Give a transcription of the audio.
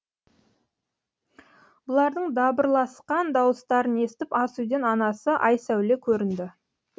бұлардың дабырласқан дауыстарын естіп ас үйден анасы айсәуле көрінді